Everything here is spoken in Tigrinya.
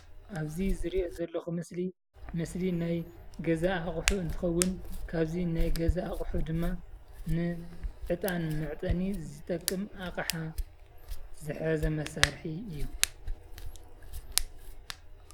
ኣብዚ ዝሪኦ ዘለኩ ምስሊ ምስሊ ናይ ገዛ ኣቁሑ እንትከውን ካብዚ ናይ ገዛ ኣቁሑ ድማ ዕጣን መዕጠኒ እዩ ዝጠቅም ኣቅሓ ዝሓዘ እመሳሪሒ እዩ።